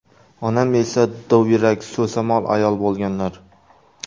Onam esa dovyurak, so‘zamol ayol bo‘lganlar.